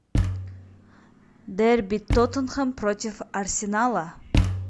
дерби тоттенхэм против арсенала